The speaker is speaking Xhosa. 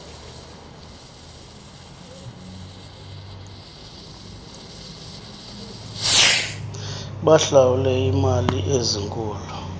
bahlawule iimali ezinkulu